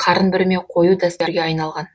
қарын бүрме қою дәстүрге айналған